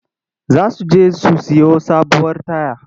Za su je su sayo sabuwar taya.